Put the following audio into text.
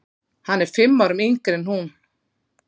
Hann er fimm árum yngri en hún.